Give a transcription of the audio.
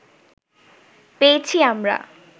পেয়েছি আমরা